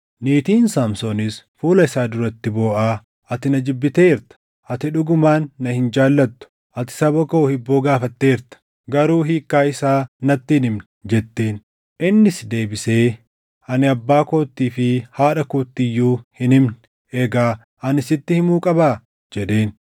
Niitiin Saamsoonis fuula isaa duratti booʼaa “Ati na jibbiteerta! Ati dhugumaan na hin jaallattu. Ati saba koo hibboo gaafatteerta; garuu hiikkaa isaa natti hin himne” jetteen. Innis deebisee, “Ani abbaa koottii fi haadha kootti iyyuu hin himne; egaa ani sitti himuu qabaa?” jedheen.